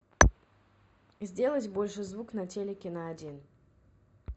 сделать больше звук на телике на один